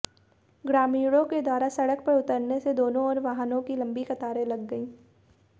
ग्रामीणों के द्वारा सड़क पर उतरने से दोनों ओर वाहनों की लंबी कतारें लग गई